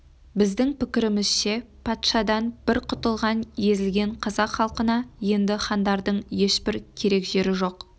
біздің пікірімізше патшадан бір құтылған езілген қазақ халқына енді хандардың ешбір керек жері жоқ